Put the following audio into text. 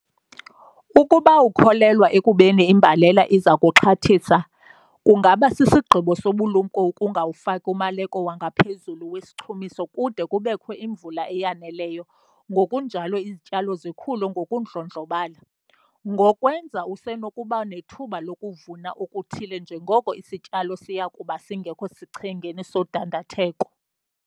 Ukuba ukholelwa ekubeni imbalela iza kuxhathisa, kungaba sisigqibo sobulumko ukungawufaki umaleko wangaphezulu wesichumiso kude kubekho imvula eyaneleyo ngokunjalo izityalo zikhule ngokundlondlobala. Ngokwenza usenokuba nethuba lokuvuna okuthile njengoko isityalo siya kuba singekho sichengeni sodandatheko.